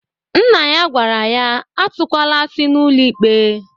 Nna ya gwara ya atụkwala asị n'ụlọ ikpe!